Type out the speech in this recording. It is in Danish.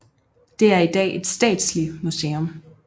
Det er i dag et statslig museum